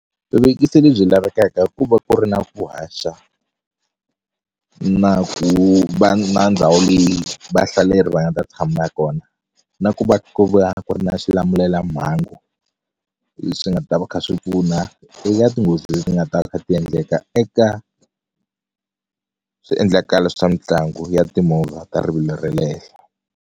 Vuvekisi lebyi lavekaka ku va ku ri na ku haxa na ku va na ndhawu leyi vahlaleri va nga ta tshama kona na ku va ku va ku na swilamulelamhangu leswi nga ta va kha swi pfuna eka tinghozi leti nga ta kha ti endleka eka swiendlakalo swa mitlangu ya timovha ta rivilo ra le henhla.